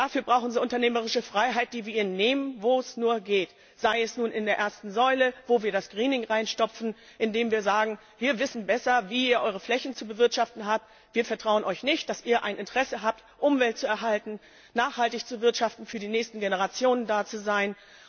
Dazu brauchen sie unternehmerische Freiheit, die wir ihnen nehmen, wo es nur geht. Sei es nun in der ersten Säule, in die wir das Greening reinstopfen, indem wir sagen Wir wissen besser, wie ihr eure Flächen zu bewirtschaften habt, wir vertrauen euch nicht, dass ihr ein Interesse daran habt, die Umwelt zu erhalten, nachhaltig zu wirtschaften und für die nächsten Generationen da zu sein.